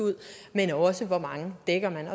ud men også hvor mange man dækker